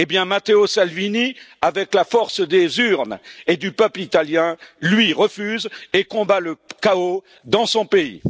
Matteo Salvini, avec la force des urnes et du peuple italien, lui, refuse et combat le chaos dans son pays.